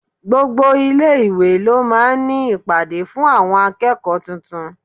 Gbogbo ilé-ìwé ló máa ń ní ìpàdé fún àwọn akẹ́kọ̀ọ́ tuntun.